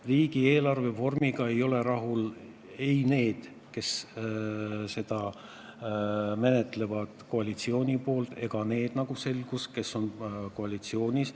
Riigieelarve vormiga ei ole rahul ei need, kes seda menetlevad koalitsiooni poolt, ega need, kes on opositsioonis.